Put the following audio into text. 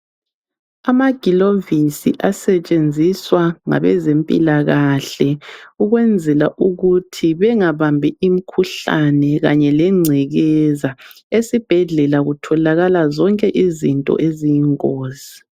Amagilovisi asetshenziswa ngabezempilakahle ukwenzela ukuthi bengabambi imikhuhlane kanye lengcekeza. Esibhedlela kutholakala zonke izinto eziyingozi.